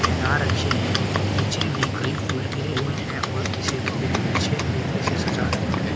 हेनार अच्छी हैं नीचे भी कई फूल गिरे हुए हैं और इसे बहुत अच्छे तरीके से सजा रखा है।